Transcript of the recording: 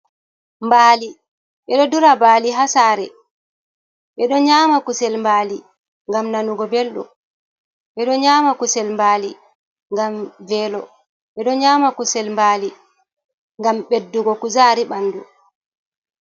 "Mbaali" ɓeɗo dura mbaali hasare, ɓeɗo nyama kusel mbaali ngam nanugo belɗum, ɓeɗo nyama kusel mbaali ngam velo, ɓeɗo nyama kusel mbaali ngam beddugo kuzari ɓandu.